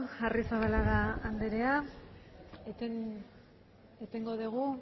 arrizabalaga anderea etengo dugu